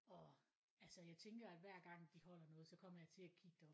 Og altså jeg at tænker hver gang de holder noget så kommer jeg til at kigge derop